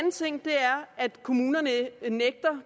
at kommunerne nægter